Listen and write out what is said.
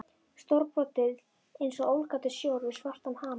Stórbrotið einsog ólgandi sjór við svartan hamar.